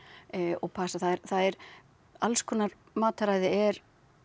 og passa það er alls konar mataræði er